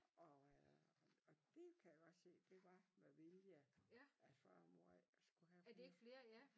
Og og det kan jeg godt se det var med vilje at far og mor ikke skulle have flere